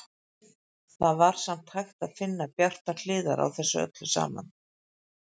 Það var samt hægt að finna bjartar hliðar á þessu öllu saman.